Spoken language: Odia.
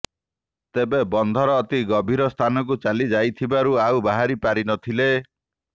ତେବେ ବନ୍ଧର ଅତି ଗଭୀର ସ୍ଥାନକୁ ଚାଲି ଯାଇଥିବାରୁ ଆଉ ବାହାରି ପାରି ନଥିଲେ